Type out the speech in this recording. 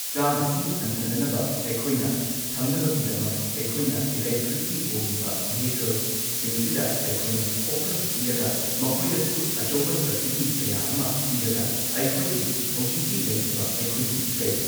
ꯆꯥꯡ ꯑꯁꯤ ꯍꯟꯊꯅꯅꯕ ꯑꯩꯈꯣꯏꯅ ꯊꯝꯅꯕꯒꯤꯗꯃꯛ ꯑꯩꯈꯣꯏꯅ ꯢꯂꯦꯇ꯭ꯔꯤꯛꯀꯤ ꯑꯣꯏꯔꯤꯕ ꯚꯦꯍꯤꯀꯜꯁꯤꯡꯁꯤꯗ ꯑꯩꯈꯣꯏꯅ ꯐꯣꯀꯁ ꯄꯤꯔꯒ ꯃꯈꯣꯏꯗꯁꯨ ꯑꯆꯧꯕ ꯁꯕꯁꯤꯗꯤ ꯀꯌꯥ ꯑꯃ ꯄꯤꯔꯒ ꯑꯩꯈꯣꯏꯒꯤ ꯍꯧꯖꯤꯛꯀꯤ ꯂꯩꯔꯤꯕ ꯑꯩꯈꯣꯏꯒꯤ ꯀꯩ